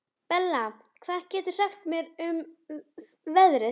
Bella, hvað geturðu sagt mér um veðrið?